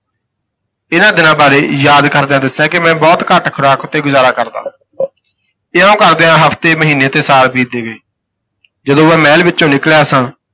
ਇਹਨਾਂ ਦਿਨਾਂ ਬਾਰੇ ਯਾਦ ਕਰਦਿਆਂ ਦੱਸਿਆ ਕਿ ਮੈਂ ਬਹੁਤ ਘੱਟ ਖੁਰਾਕ ਉੱਤੇ ਗੁਜ਼ਾਰਾ ਕਰਦਾ। ਇਉਂ ਕਰਦਿਆਂ ਹਫ਼ਤੇ ਮਹੀਨੇ ਤੇ ਸਾਲ ਬੀਤਦੇ ਗਏ ਜਦੋਂ ਮੈਂ ਮਹਿਲ ਵਿੱਚੋਂ ਨਿਕਲਿਆ ਸਾਂ